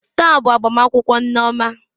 Taa bụ agbamakwụkwọ nneoma